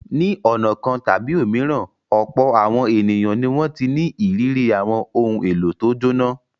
Ní ọ̀nà kan tàbí òmíràn, ọ̀pọ̀ àwọn ènìyàn ni wọ́n ti ní ìrírí àwọn ohun-èlò tó jóná.